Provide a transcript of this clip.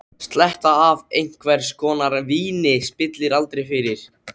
Sletta af einhvers konar víni spillir aldrei fyrir.